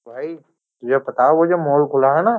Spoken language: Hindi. भाई तुझे पता है वो जो मोल खुला है ना।